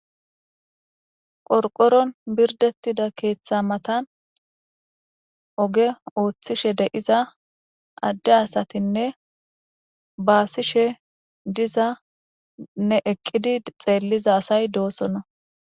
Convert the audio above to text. qorqoron birdettida keeththa matan oge ooththishe de'iza adde asatinne baasishe dizane eqqidi xeelliza asay doosonna